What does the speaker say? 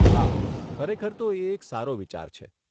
હા, ખરેખર તો એ એક સારો વિચાર છે.